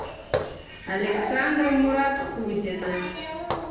александра муратхузина